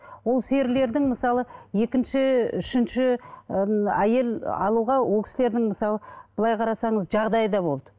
ол серілердің мысалы екінші үшінші ыыы әйел алуға ол кісілердің мысалы былай қарасаңыз жағдайы да болды